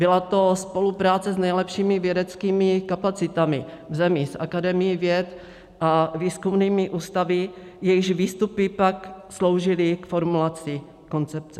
Byla to spolupráce s nejlepšími vědeckými kapacitami v zemi, s Akademií věd a výzkumnými ústavy, jejichž výstupy pak sloužily k formulaci koncepce.